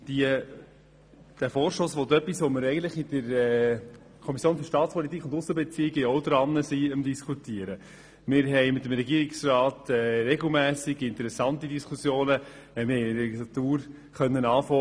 Dieser Vorstoss will etwas, das wir in der SAK auch behandeln, und mit dem Regierungsrat haben wir regelmässig interessante Diskussionen darüber.